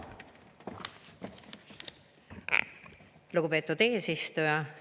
Lugupeetud eesistuja!